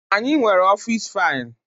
Anyị nwere ọfịs faịlụ.